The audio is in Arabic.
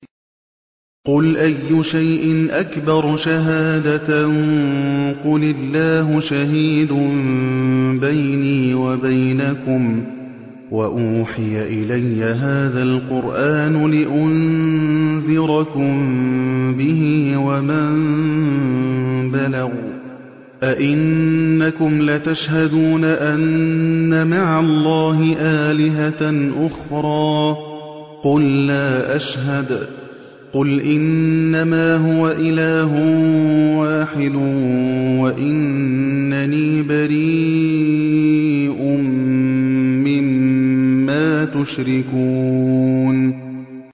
قُلْ أَيُّ شَيْءٍ أَكْبَرُ شَهَادَةً ۖ قُلِ اللَّهُ ۖ شَهِيدٌ بَيْنِي وَبَيْنَكُمْ ۚ وَأُوحِيَ إِلَيَّ هَٰذَا الْقُرْآنُ لِأُنذِرَكُم بِهِ وَمَن بَلَغَ ۚ أَئِنَّكُمْ لَتَشْهَدُونَ أَنَّ مَعَ اللَّهِ آلِهَةً أُخْرَىٰ ۚ قُل لَّا أَشْهَدُ ۚ قُلْ إِنَّمَا هُوَ إِلَٰهٌ وَاحِدٌ وَإِنَّنِي بَرِيءٌ مِّمَّا تُشْرِكُونَ